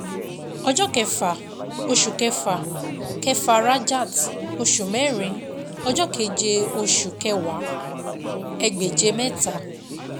Ọjọ́ kẹfà oṣù kẹfà kẹfà Rajat oṣù mẹ́rin ọjọ́ keje oṣù kẹwàá ẹgbèje mẹ́ta.